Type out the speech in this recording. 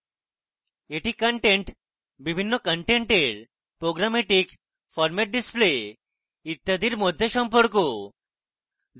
এটি content বিভিন্ন content programmatic format display ইত্যাদির মধ্যে সম্পর্ক